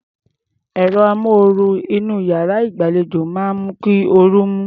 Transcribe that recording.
Ẹ̀rọ amóoru inú iyàrá ìgbàlejò máa ń mú kí orú mú.